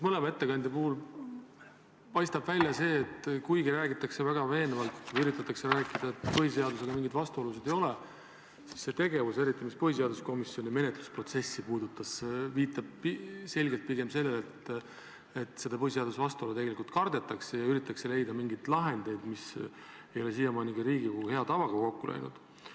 Mõlema ettekandja puhul paistab välja see, et kuigi räägitakse väga veenvalt või üritatakse rääkida, et põhiseadusega mingeid vastuolusid ei ole, siis see tegevus, eriti mis põhiseaduskomisjoni menetlusprotsessi puudutas, viitab selgelt pigem sellele, et seda põhiseadusega vastuolu tegelikult kardetakse ja üritatakse leida mingeid lahendeid, mis ei ole siiamaani ka Riigikogu hea tavaga kokku läinud.